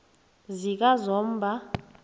zikazomba